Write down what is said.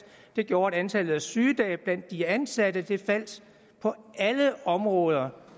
det gjorde at antallet af sygedage blandt de ansatte faldt på alle områder